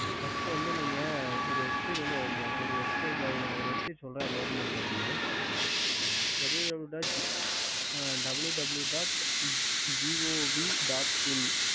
ம் சொல்லுங்க okey